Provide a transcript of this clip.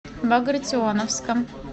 багратионовском